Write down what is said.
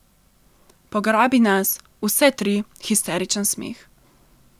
Pograbi nas, vse tri, histeričen smeh.